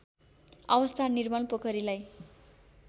अवस्था निर्मल पोखरीलाई